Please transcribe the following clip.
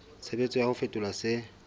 tshebetso ya ho fetola se